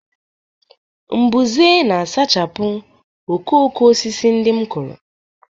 mbuze na-asachapụ okooko osisi ndị m kụrụ